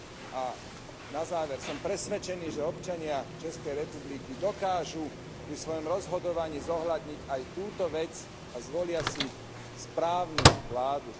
A na záver, som presvedčený, že občania Českej republiky dokážu pri svojom rozhodovaní zohľadniť aj túto vec a zvolia si správnu vládu.